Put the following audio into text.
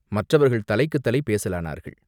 மற்றவர்கள் தலைக்குத் தலை பேசலானார்கள்.